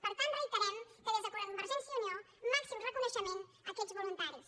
per tant reiterem que des de convergència i unió màxim reconeixement a aquests voluntaris